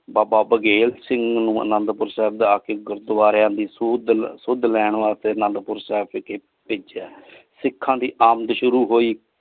ਬਾਬਾ ਬੇਗਲ ਸਿੰਘ ਨੂ ਅਨੰਦੁਪੁਰ ਸਾਹਿਬ ਜਾ ਕੇ ਗੁਰਦਵਾਰਾ ਦੀ ਸੁੱਧ ਸੁਧ ਲੈਣ ਵਾਸ੍ਤੇ ਅਨੰਦੁਪੁਰ ਸਾਹਿਬ ਵਿਚ ਪੇਜ੍ਯਾ ਸਿਖਾਂ ਦੀ ਆਮਦ ਸ਼ੁਰੂ ਹੋਈ।